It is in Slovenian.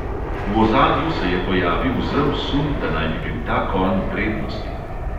V ozadju se je pojavil zel sum, da naj bi bil ta konj v prednosti.